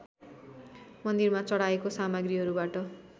मन्दिरमा चढाएको सामग्रीहरूबाट